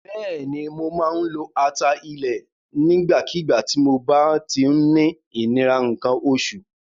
Bẹ́ẹ̀ni, mo máa ń lo ata ilẹ̀ nígbàkígbà tí mob á ti ń ní ìnira nǹkan oṣù.